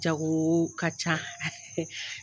Jago ka ca